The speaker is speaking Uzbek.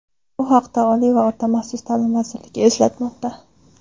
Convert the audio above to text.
Bu haqda Oliy va o‘rta maxsus ta’lim vazirligi eslatmoqda .